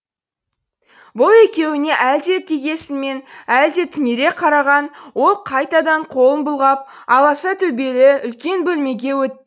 бұл екеуіне әлде кекесінмен әлде түнере қараған ол қайтадан қолын бұлғап аласа төбелі үлкен бөлмеге